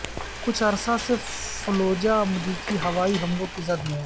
کچھ عرصہ سے فلوجہ امریکی ہوائی حملوں کی زد میں ہے